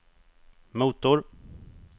motor